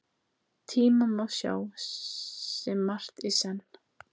Tíma má sjá sem margt í senn.